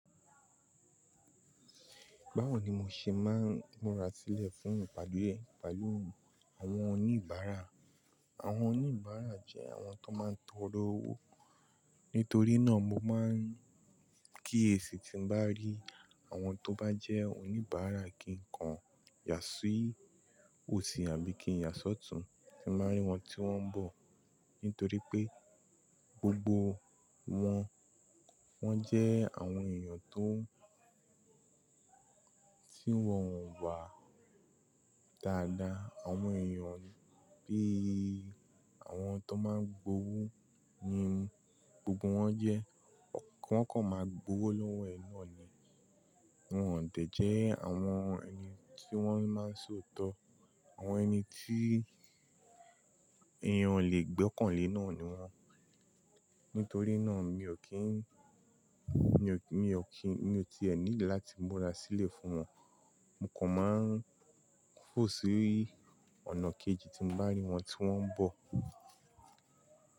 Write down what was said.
Báwo ni mo ṣe máa ń múra sílẹ̀ fún ìpàdé pẹ̀lú àwọn oníbàárà? Àwọn oníbàárà jẹ́ àwọn tó máa ń tọrọ owó. Nítorí náà mo máa ń kíyèsí tí n bá rí àwọn tó bá jẹ́ oníbàárà kí n kọ yà sí i òsì àbí kí n yà sọ́tùú tí n bá rí wọn tí wọ́n ń bọ̀. Nítorí pé gbogbo wọn jẹ́ àwọn èèyàn tó ti wọ̀ wọ́n wà dáadáa. Àwọn èèyàn bí i àwọn tó máa gbówó ni gbogbo wọn jẹ́. Wọ́n kọ̀ máa gbówó lọ́wọ́ ẹ ni. Wọ́n ò dẹ̀ jẹ́ àwọn ẹni tí wọ́n máa ń sọ òótọ́. Àwọn ẹni tí èèyàn ò lè gbọ́kàn lé náà ni wọ́n. Nítorí náà mi ò kí ń, mi ò kí, mi ò ti ẹ́ need láti múra sílẹ̀ fún wọn. Mo kàn máa ń fò sí i ọ̀nà kejì tí n bá rí wọn tí wọ́n ń bọ̀.